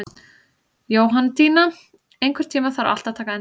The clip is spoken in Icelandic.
Jóhanndína, einhvern tímann þarf allt að taka enda.